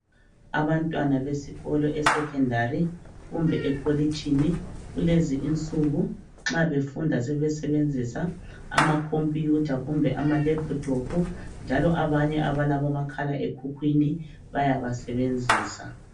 Abantwana besikolo esecondary kumbe ekolitshini kulezi insuku nxa befunda sebesebenzisa ama computer kumbe ama laptop njalo abanye abalabo makhalekhukhwini bayaba sebenzisa